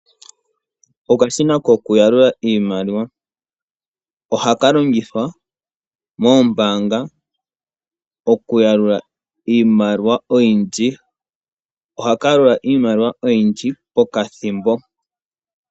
Okashina kokuyalula iimaliwa, ohaka longithwa moombaanga okuyalula iimaliwa oyindji, ohaka yalula iimaliwa oyindji pokathimbo.